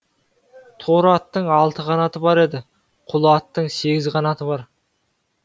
торы аттың алты қанаты бар еді құла аттың сегіз қанаты бар